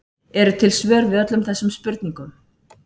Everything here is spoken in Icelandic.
Eru til svör við öllum þessum spurningum?